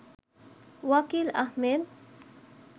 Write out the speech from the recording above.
Wakil Ahmed